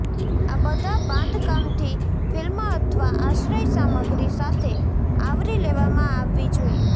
આ બધા બાંધકામથી ફિલ્મ અથવા આશ્રય સામગ્રી સાથે આવરી લેવામાં આવવી જોઈએ